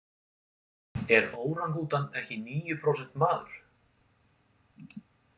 Er órangútan ekki níu prósent maður?